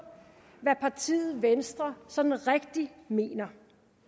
hvad partiet venstre sådan rigtig mener